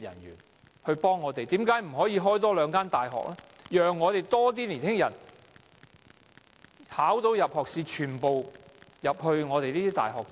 為甚麼不可以興辦大學，讓年輕人在考獲入學資格後，全部均可入讀大學？